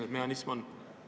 Mis mehhanism see on?